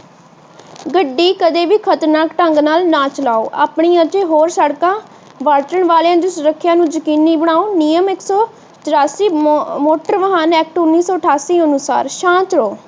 ਗੱਡੀ ਕਦੇਵੀ ਖਤਰਨਾਕ ਢੰਗ ਨਾਲ ਨਾ ਚਲਾਓ। ਆਪਣੀ ਅਤੇ ਹੋਰ ਸੜਕਾਂ ਵਰਤਣ ਵਾਲਿਆਂ ਦੀ ਸੁਰੱਖਿਆ ਨੂੰ ਯਕੀਨੀ ਬਣਾਓ। ਨਿਯਮ ਇੱਕ ਸੌ ਤਿਰਾਸੀ ਮੋਟਰ ਵਾਹਨ ਐਕਟ ਉੰਨੀ ਸੌ ਅਠਾਸੀ ਅਨੁਸਾਰ ਸ਼ਾਂਤ ਰਹੋ।